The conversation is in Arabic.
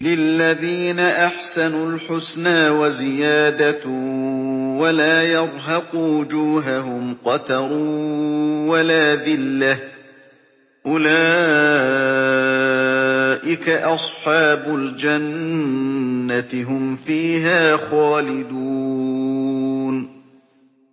۞ لِّلَّذِينَ أَحْسَنُوا الْحُسْنَىٰ وَزِيَادَةٌ ۖ وَلَا يَرْهَقُ وُجُوهَهُمْ قَتَرٌ وَلَا ذِلَّةٌ ۚ أُولَٰئِكَ أَصْحَابُ الْجَنَّةِ ۖ هُمْ فِيهَا خَالِدُونَ